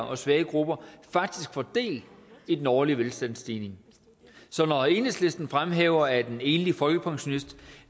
og svage grupper faktisk får del i den årlige velstandsstigning så når enhedslisten fremhæver at en enlig folkepensionist